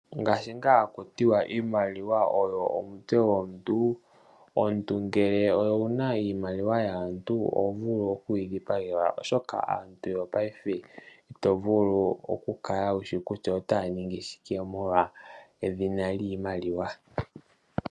Ngaashi ngaa haku ti iimaliwa oyina omutse gomuntu omuntu ngele owuna iimaliwa yaantu oho vulu oku yi dhipagelwa, oshoka aantu yopaife ito vulu oku kala wushi kutya otaya ningi shingi shike molwa edhina lyiimaliwa.